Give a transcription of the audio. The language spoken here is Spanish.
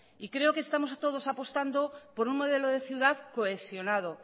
creo que estamos a todos apostando por un modelo de ciudad cohesionado